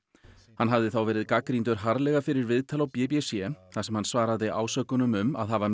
hann hafði þá verið gagnrýndur harðlega fyrir viðtal á b b c þar sem hann svaraði ásökunum um að hafa